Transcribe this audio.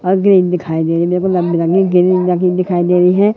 और ग्रीन दिखाई दे रही है मेरेको लंबी लंबी ग्रीन लगी दिखाई दे रही है।